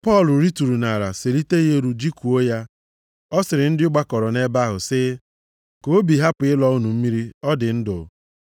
Pọl rituru nʼala selite ya elu jikụọ ya. Ọ sịrị ndị gbakọrọ nʼebe ahụ sị, “Ka obi hapụ ịlọ unu mmiri ọ dị ndụ.”